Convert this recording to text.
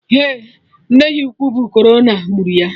Eh, nne ya ukwu bụ corona gburu ya